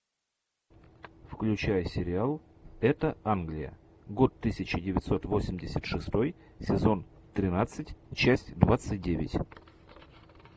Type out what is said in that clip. включай сериал это англия год тысяча девятьсот восемьдесят шестой сезон тринадцать часть двадцать девять